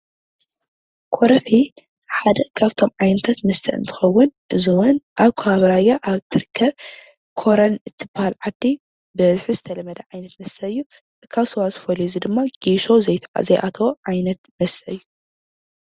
ኮረፌ ሓደ ካብቶም ዓይነታት መስተ እንትኸዉን እዚ እዉን አብ ከባቢ ራያ አብ እትርከብ ኮረም እትብሃል ዓዲ ብበዝሒ ዝተለመደ ዓይነት መስተ እዩ። ካብ ስዋ ዝፈልዮ ድማ ጌሾ ዘይአተዎ ዓይነት መስተ እዩ።